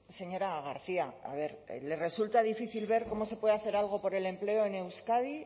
señora garcia a ver le resulta difícil ver cómo se puede hacer algo por el empleo en euskadi